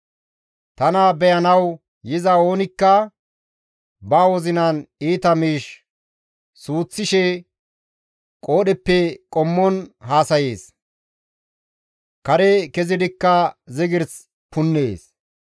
Tana beyanawu yiza oonikka ba wozinan iita miish suuththishe qoodheppe qommon haasayees; kare kezidikka zigirs punnees.